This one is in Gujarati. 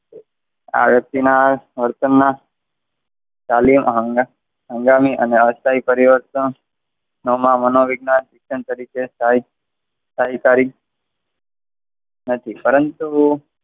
વ્યક્તિના વર્તન ના તાલીમ હંગામી અને અસ્થાયી પરિવર્તન આમાં મનો વિજ્ઞાન શિક્ષણ તરીકે સ્થાયી શાહી કારી, નથી પરંતુ,